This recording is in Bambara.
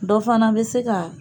Dɔ fana bɛ se ka